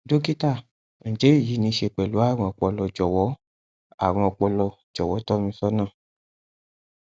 dọkítà ǹjẹ èyí ní í ṣe pẹlú àrùn ọpọlọ jọwọ àrùn ọpọlọ jọwọ tọ mi sọnà